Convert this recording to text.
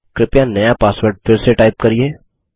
कृपया नया पासवर्ड फिर से टाइप करिये